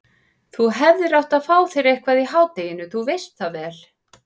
Þú hefðir átt að fá þér eitthvað í hádeginu, þú veist það vel.